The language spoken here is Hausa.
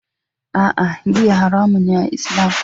A'a, giya haramun ce a Islam